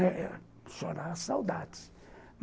Eu choro a saudade.